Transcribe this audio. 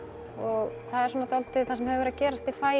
og það er svona það sem hefur verið að gerast í faginu